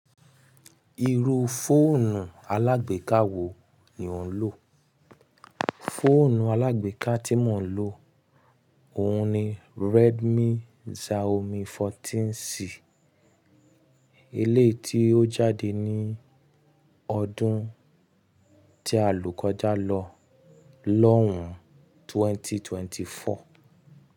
Irú fóònù alágbèká wo ni ò ń lò? Fóònù alágbèká tí mò ń lò òhun ni Redmi Xiaomi 14C. Eleyii tí ó jáde ní ọdún tí a lò kọjá lọ lọ́hùn 2024.